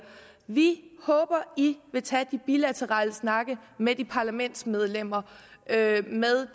vi håber i vil tage de bilaterale snakke med de parlamentsmedlemmer med